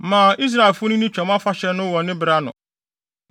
“Ma Israelfo no nni Twam Afahyɛ no wɔ ne bere ano.